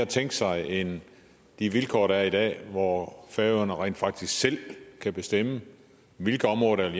tænke sig end de vilkår der er i dag hvor færøerne rent faktisk selv kan bestemme hvilke områder der